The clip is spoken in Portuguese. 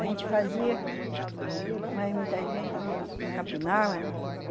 A gente fazia, mas muitas vezes não não capinava, né?